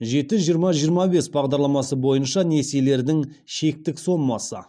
жеті жиырма жиырма бес бағдарламасы бойынша несиелердің шектік сомасы